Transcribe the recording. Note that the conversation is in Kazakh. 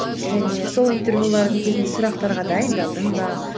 және сол интервьюлардың кезінде сұрақтарға дайындалдың ба